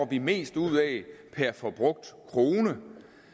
vi mest ud af per forbrugt krone